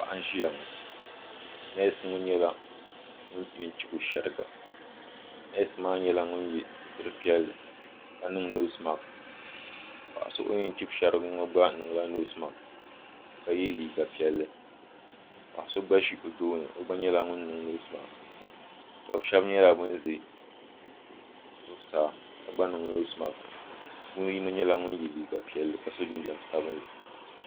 Paɣa so n ʒiya ŋɔ neesi ŋɔ nyɛla ŋun yɛn chibi o shɛriga neesi maa nyɛla ŋun yɛ sitiri piɛlli ka niŋ noosi maks paɣa so o yɛn chibi shɛrigi ŋɔ gba niŋla noosi maks ka yɛ liiga piɛlli paɣa so gba ʒi o tooni o gba nyɛla ŋun niŋ noosi maks dɔbi shɛbi nyɛla ban ʒɛ zuɣusaa ka gba niŋ noosi maks bɛ puuni yino nyɛla ŋun yɛ liiga piɛlli ka so jinjam savinli